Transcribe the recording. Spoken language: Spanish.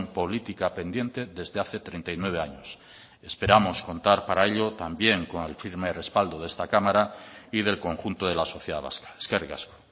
política pendiente desde hace treinta y nueve años esperamos contar para ello también con el firme respaldo de esta cámara y del conjunto de la sociedad vasca eskerrik asko